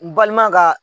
N balima ka